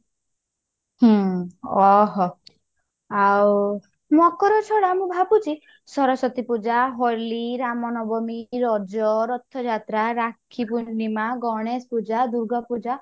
ହୁଁ ଓଃ ହୋ ଆଉ ମକର ଛଡା ମୁଁ ଭାବୁଛି ସରସ୍ଵତୀ ପୂଜା, ହୋଲି, ରାମନବମୀ, ରଜ, ରଥଯାତ୍ରା, ରାକ୍ଷୀ ପୁର୍ଣିମା, ଗଣେଶ ପୂଜା, ଦୂର୍ଗା ପୂଜା